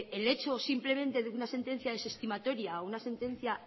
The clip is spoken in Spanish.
el hecho simplemente de una sentencia desestimatoria o una sentencia